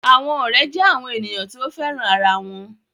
Àwọn ọ̀rẹ́ jẹ́ àwọn ènìyàn tí o féràn ara wọn